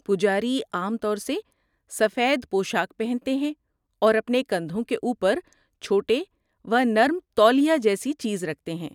پجاری عام طور سے سفید پوشاک پہنتے ہیں اور اپنے کندھوں کے اوپر چھوٹے و نرم تولیہ جیسی چیز رکھتے ہیں۔